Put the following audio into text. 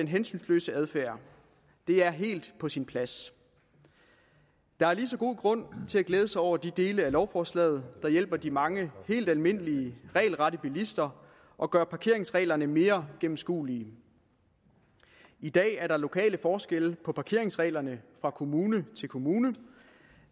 hensynsløs adfærd det er helt på sin plads der er lige så god grund til at glæde sig over de dele af lovforslaget der hjælper de mange helt almindelige regelrette bilister og gør parkeringsreglerne mere gennemskuelige i dag er der lokale forskelle på parkeringsreglerne fra kommune til kommune